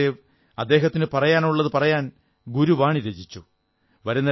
ഗുരുനാനക് ദേവ് അദ്ദേഹത്തിനു പറയാനുള്ളതു പറയാൻ ഗുരുവാണി രചിച്ചു